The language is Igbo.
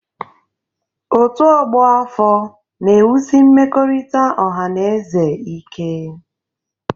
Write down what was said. Ọ́tù ọgbọ afọ na-ewusi mmekọrịta ọha na eze ike.